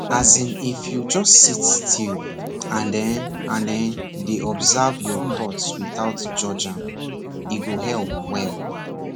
as in if you just sit still and[um]and[um]dey observe your thoughts without judge am e go help well